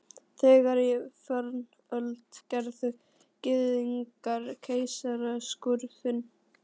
Þegar í fornöld gerðu Gyðingar keisaraskurði.